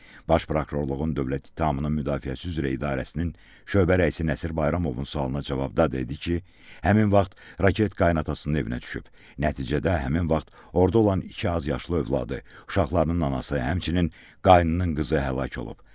Baş Prokurorluğun Dövlət İttihamının Müdafiəsi üzrə İdarəsinin şöbə rəisi Nəsir Bayramovun suallarına cavabda dedi ki, həmin vaxt raket qaynanasının evinə düşüb, nəticədə həmin vaxt orda olan iki azyaşlı övladı, uşaqlarının anası, həmçinin qaynının qızı həlak olub.